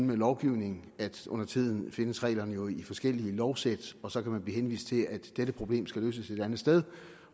med lovgivning at undertiden findes reglerne jo i forskellige lovsæt og så kan man blive henvist til at dette problem skal løses et andet sted